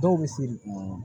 Dɔw bɛ seri